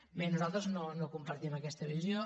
bé nosaltres no compartim aquesta visió